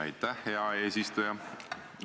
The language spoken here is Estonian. Aitäh, hea eesistuja!